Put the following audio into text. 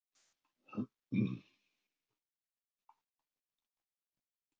Hafi hann enn sent flotanum skipafréttir, hlýtur gildi þeirra að hafa farið minnkandi.